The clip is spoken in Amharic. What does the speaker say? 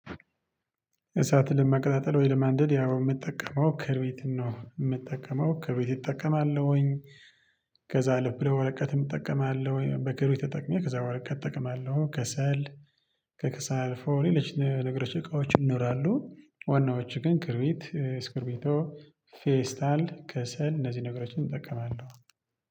እሳትን ለማቀጣጠል ወይ? ለማንደድ ያው የምጠቀመው ክርቢትን ነው የምጠቀመው ከርቢትን እጠቀማለሁኝ። ከዛ ልብ ለወረቀት እጠቀማለሁኝ በክርቢት ተጠቅሜ ከዛ ወረቀት እጠቀማለሁ ከሰል ከከሰል ፎር ሌሎች ነገሮች እቃዎች ይኖራሉ። ዋናዎቹ ግን ክርቢት ስክርቢቶ ፌስታል ከሰል እነዚህ ነገሮችን እጠቀማለሁ